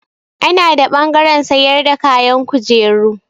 Ana da ɓangaren sayar da kayan kujeru.